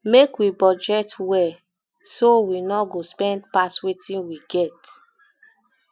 make we budget well budget well so we no go spend pass wetin we get